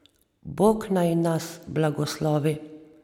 Bog naj nas blagoslovi.